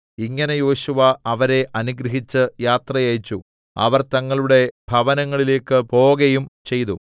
ഇങ്ങനെ യോശുവ അവരെ അനുഗ്രഹിച്ച് യാത്ര അയച്ചു അവർ തങ്ങളുടെ ഭവനങ്ങളിലേക്ക് പോകയും ചെയ്തു